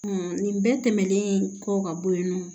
nin bɛɛ tɛmɛnen kɔ ka bɔ yen nɔ